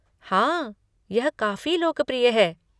हाँ, यह काफी लोकप्रिय है।